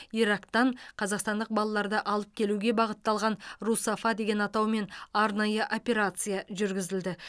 ирактан қазақстандық балаларды алып келуге бағытталған русафа деген атаумен арнайы операция жүргізілді